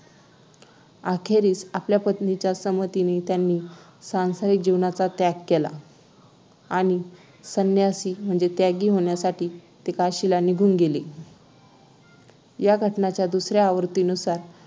अखेरीस आपल्या पत्नीच्या संमतीने त्यांनी सांसारिक जीवनाचा त्याग केला आणि संन्यासी म्हणजे त्यागी होण्यासाठी ते काशीला निघून गेले या घटनेच्या दुसऱ्या आवृत्तीनुसार